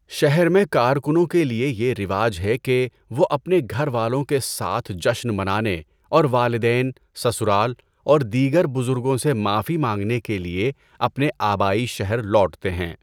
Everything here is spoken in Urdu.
شہر میں کارکنوں کے لیے یہ رواج ہے کہ وہ اپنے گھر والوں کے ساتھ جشن منانے اور والدین، سسرال اور دیگر بزرگوں سے معافی مانگنے کے لیے اپنے آبائی شہر لوٹتے ہیں۔